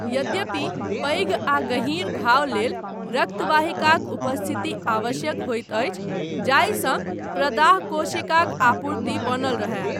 यद्यपि, पैघ आ गहीँर घाव लेल रक्त वाहिकाक उपस्थिति आवश्यक होइत अछि जाहिसँ प्रदाह कोशिकाक आपूर्ति बनल रहय।